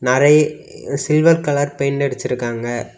நறைய் silver colour paint அடிச்சிருக்காங்க.